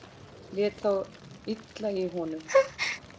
Lét þá illa í honum.